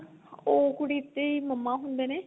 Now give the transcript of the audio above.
ਉਹ ਕੁੜੀ ਦੀ mamma ਹੁੰਦੇ ਨੇ